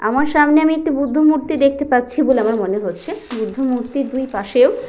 আমার সামনে আমি একটি বুদ্ধ মূর্তি দেখতে পাচ্ছি বলে আমার মনে হচ্ছে বুদ্ধ মূর্তির দুইপাশেও--